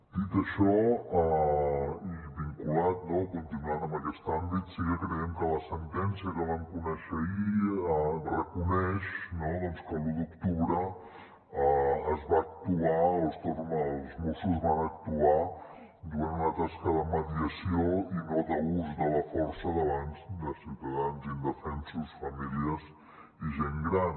dit això i vinculat no continuant en aquest àmbit sí que creiem que la sentència que vam conèixer ahir reconeix doncs que l’u d’octubre els mossos van actuar duent a terme una tasca de mediació i no d’ús de la força davant de ciutadans indefensos famílies i gent gran